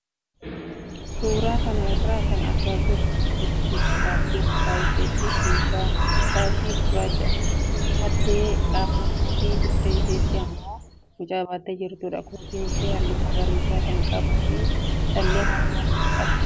Suuraa kanarraa kan argaa jirru suuraa dubartii gurraattii mataa isheetti shaashii gurraacha uffattee dhaabbattuu fi dugda isheetti immoo mucaa baattee jirtudha. Kootiin ishee halluu magariisa kan qabuu fi callee mormaas qabdi.